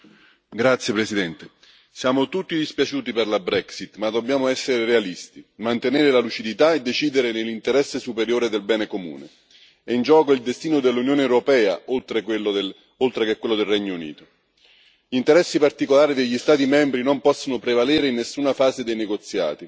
Signora Presidente, onorevoli colleghi, siamo tutti dispiaciuti per la Brexit, ma dobbiamo essere realisti, mantenere la lucidità e decidere nell'interesse superiore del bene comune. È in gioco il destino dell'Unione europea oltre che quello del Regno Unito. Gli interessi particolari degli Stati membri non possono prevalere in nessuna fase dei negoziati